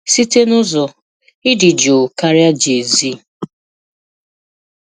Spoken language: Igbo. Site n'ụzọ, ị dị jụụ karịa JayZ.